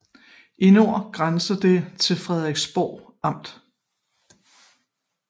I nord grænser det til Frederiksborg Amt